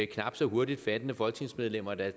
knap så hurtigopfattende folketingsmedlemmer der